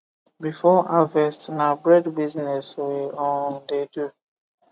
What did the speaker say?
before harvest na bread business we um de do